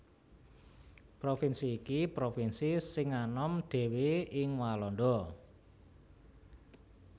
Provinsi iki provinsi sing anom dhéwé ing Walanda